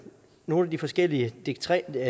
nogle af de forskellige dekreter